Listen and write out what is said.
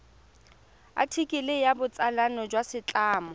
athikele ya botsalano jwa setlamo